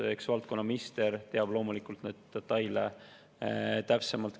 Eks valdkonna minister teab loomulikult neid detaile täpsemalt.